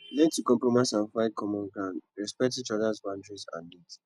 learn to compromise and find common ground respect each others boundaries and needs